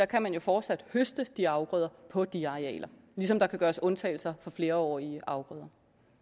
kan man jo fortsat høste de afgrøder på de arealer ligesom der kan gøres undtagelser for flerårige afgrøder